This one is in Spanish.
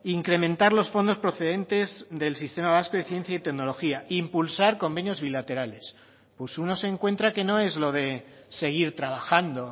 incrementar los fondos procedentes del sistema vasco de ciencia y tecnología impulsar convenios bilaterales pues uno se encuentra que no es lo de seguir trabajando